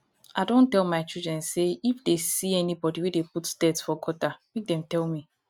i don tell my children say if dey see anybody wey dey put dirt for gutter make dem tell me